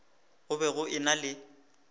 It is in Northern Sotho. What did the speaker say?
go be go ena le